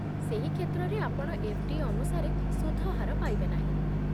ସେହି କ୍ଷେତ୍ରରେ, ଆପଣ ଏଫ୍.ଡି. ଅନୁସାରେ ସୁଧ ହାର ପାଇବେ ନାହିଁ